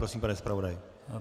Prosím, pane zpravodaji.